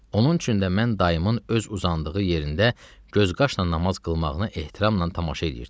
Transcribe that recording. Onun üçün də mən dayımın öz uzandığı yerində gözqaşla namaz qılmağına ehtiramla tamaşa eliyirdim.